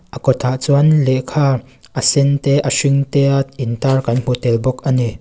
a kawt ah chuan lehkha a sen te a hring te a in tar kan hmu tel bawk ani.